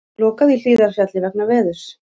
Lokað í Hlíðarfjalli vegna veðurs